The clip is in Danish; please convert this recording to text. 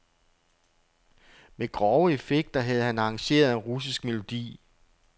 Med grove effekter havde han arrangeret en russisk melodi.